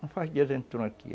Não faz dias entram aqui.